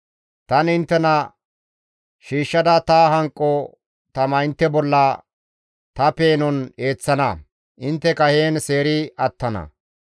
Tani inttena shiishshada ta hanqo tama intte bolla ta peenon eeththana; intteka heen seeri attana.